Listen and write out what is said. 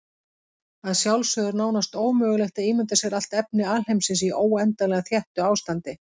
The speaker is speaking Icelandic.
Að sjálfsögðu er nánast ómögulegt að ímynda sér allt efni alheimsins í óendanlega þéttu ástandi.